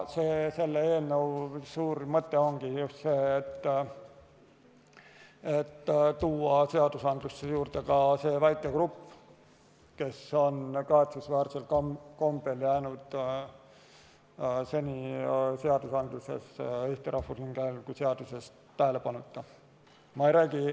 Selle eelnõu suur mõte ongi just see, et tuua seadusesse juurde see väike grupp, kes on kahetsusväärsel kombel jäänud seni Eesti Rahvusringhäälingu seaduses tähelepanuta.